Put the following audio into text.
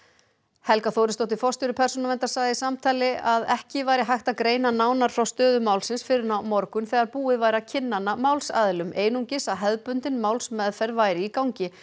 Helga Þórisdóttir forstjóri Persónuverndar sagði í samtali að ekki væri hægt að greina nánar frá stöðu málsins fyrr en á morgun þegar búið væri að kynna hana málsaðilum einungis að hefðbundin málsmeðferð væri í gangi